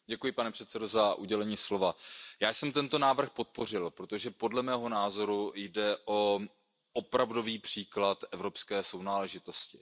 Pane předsedající, já jsem tento návrh podpořil, protože podle mého názoru jde o opravdový příklad evropské sounáležitosti.